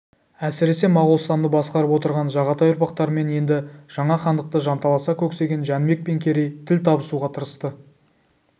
әсіресе моғолстанды басқарып отырған жағатай ұрпақтарымен енді жаңа хандықты жанталаса көксеген жәнібек пен керей тіл табуға тырысты